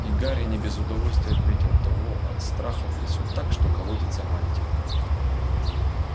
и гарри не без удовольствия отметил того от страха трясёт так что колотится мантия